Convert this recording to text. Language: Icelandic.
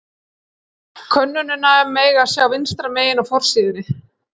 Könnunina má sjá vinstra megin á forsíðunni.